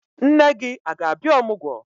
Nne gị a ga-abịa ọmụgwọ?